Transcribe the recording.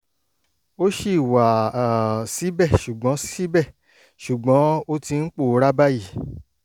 ó ṣì wà um síbẹ̀ ṣùgbọ́n síbẹ̀ ṣùgbọ́n ó ti ń pòórá báyìí